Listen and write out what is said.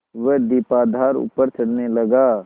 वह दीपाधार ऊपर चढ़ने लगा